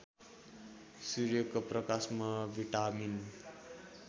सूर्यको प्रकाशमा भिटामिन